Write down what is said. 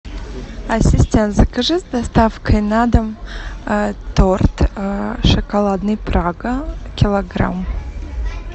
ассистент закажи с доставкой на дом торт шоколадный прага килограмм